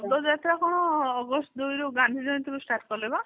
ପଦ ଯାତ୍ରା କଣ ଅଗଷ୍ଠ ଦୁଇ ଗାନ୍ଧୀଜୟନ୍ତୀରୁ start କଲେ ପା